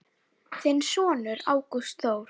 Þinn sonur, Ágúst Þór.